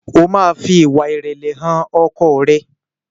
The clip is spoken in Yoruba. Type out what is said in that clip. o ma fí ìwà irẹlẹ hàn ọkọ rẹ!